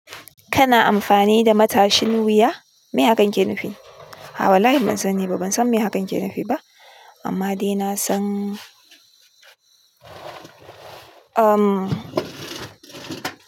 Kana amfani da matashin wuya? Mai hakan ke nufi? A'a wallahi ban saniba. Ban san me hakan ke nufiba. Amma dai nasan, umm.